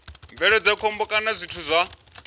bveledza khombo kana zwithu zwa